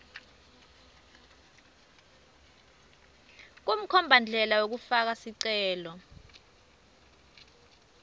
kumkhombandlela wekufaka sicelo